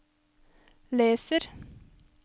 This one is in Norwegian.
leser